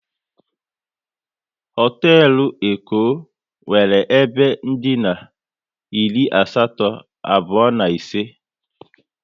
Hotelu Eko nwere ebe dina iri asatọ, abụọ na ise